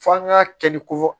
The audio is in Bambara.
F'an k'a kɛ ni ko